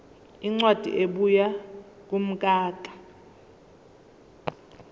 incwadi ebuya kumkhakha